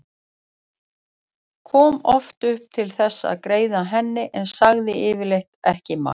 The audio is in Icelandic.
Kom oft upp til þess að greiða henni en sagði yfirleitt ekki margt.